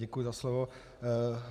Děkuji za slovo.